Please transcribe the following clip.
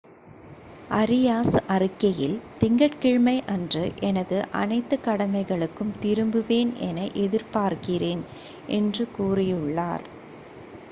"Areas அறிக்கையில்," திங்கட் கிழமையன்று எனது அனைத்து கடமைகளுக்கும் திரும்புவேன் என எதிர்பார்க்கிறேன்" என்று கூறியுள்ளார்.